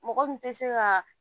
Mɔgɔ min tɛ se ka